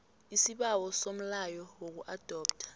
isibawo somlayo wokuadoptha